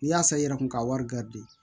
N'i y'a san i yɛrɛ kun ka wari